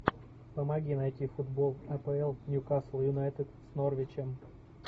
помоги найти футбол апл ньюкасл юнайтед с норвичем